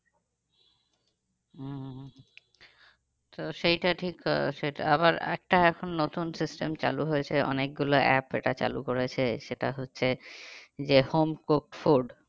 হম হম হম তো সেইটা ঠিক আহ আবার একটা এখন নতুন system চালু হয়েছে অনেকগুলা app এটা চালু করেছে সেটা হচ্ছে যে home cook food